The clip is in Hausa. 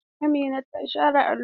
Amina ta share allo.